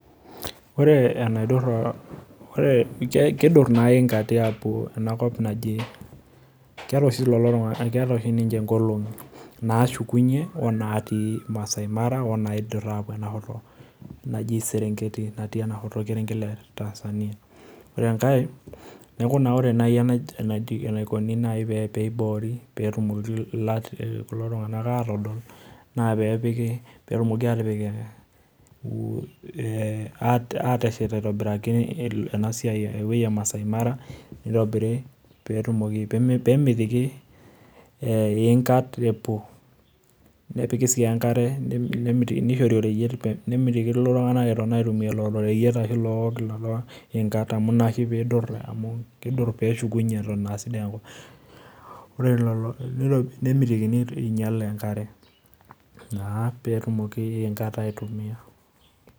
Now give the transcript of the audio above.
Ore enaidurra, kidurr na iingati apuo enakop naji keeta oshi ninche nkolong'i nashukunye onatii Maasai Mara neaku na aidura apuo inashoto naji serenketi natii endaalo orkerenket le tanzania ore enkae neaku ore nai enaikuni na peiboripetumoki kulotunganak adol na pepiki petumoki atipik ebatashet aitobiraki enewoi emasaai mara petumoki pemitiki eingat epuo esiai enkare nishori oreyiet nemitikini ltunganak eitoki aitumia lolo reyiet arahu lolo ingat na inaoshi pidol peshukunye atan a sidai enkop ore nemitikini peinyal enkare na petumoki inkat aitumia.